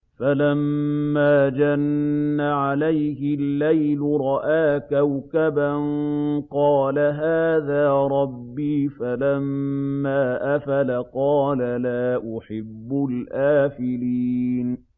فَلَمَّا جَنَّ عَلَيْهِ اللَّيْلُ رَأَىٰ كَوْكَبًا ۖ قَالَ هَٰذَا رَبِّي ۖ فَلَمَّا أَفَلَ قَالَ لَا أُحِبُّ الْآفِلِينَ